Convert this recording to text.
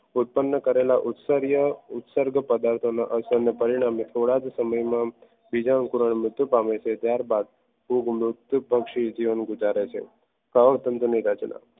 ઉત્પન્ન કરેલા ઉચ્ચાર્યો ઉત્તરદ પદાર્થોના અસમ્ય પરિણામ થોડાક સમય બીજા અંગો મૃત્યુ પામે છે અને ત્યારબાદ ફૂગ પછી જીવન ગુજારે છે કવક તંતુઓની રચના